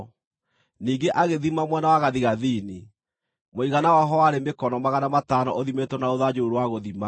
Ningĩ agĩthima mwena wa gathigathini; mũigana waho warĩ mĩkono magana matano ũthimĩtwo na rũthanju rũu rwa gũthima.